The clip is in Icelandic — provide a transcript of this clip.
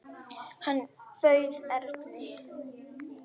Hann bauð Erni.